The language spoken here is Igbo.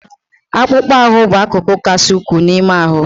Akpụkpọ ahụ bụ akụkụ kasị ukwuu n'ime ahụ.